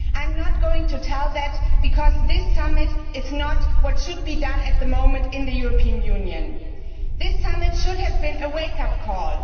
I am not going to say that because this summit is not what needs to be done at the moment in the European Union. This summit should have been a wake up call